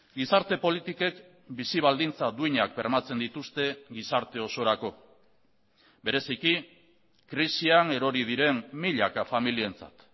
gizarte politikek bizi baldintza duinak bermatzen dituzte gizarte osorako bereziki krisian erori diren milaka familientzat